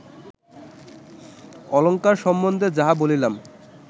অলঙ্কার সম্বন্ধে যাহা বলিলাম